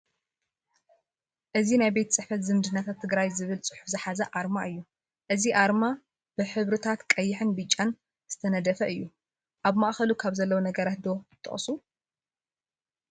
አዚ ናይ ቤት ፅሕፈት ዝምድናታት ትግራይ ዝብል ፅሑፍ ዝሓዘ ኣርማ እዩ፡፡ እዚ ኣርማ ብሕርታት ቀይሕን ብጫን ዝተደፈነ እዩ፡፡ ኣብ ማእኸሉ ካብ ዘለው ነገራት ዶ ትጠቕሱ?